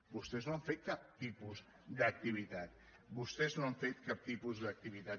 vostès no han fet cap tipus d’activitat vostès no han fet cap tipus d’activitat